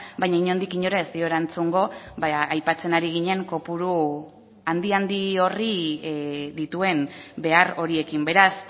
baina inondik inora ez dio erantzungo aipatzen ari ginen kopuru handi handi horri dituen behar horiekin beraz